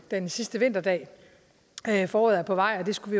den sidste vinterdag at foråret er på vej det skulle